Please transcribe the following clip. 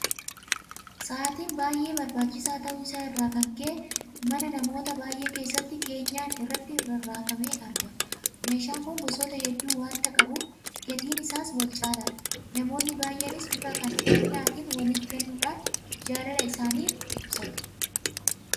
Sa'aatiin baay'ee barbaachisaa ta'uu isaa irraa kan ka'e mana namoota baay'ee keessatti keenyan irratti rarraafamee argama. Meeshaan kun gosoota hedduu waanta qabuuf gatiin isaas walcaalaadha. Namoonni baay'eenis bifa kennaatiin waliif kennuudhaan jaalala isaanii waliif ibsatu.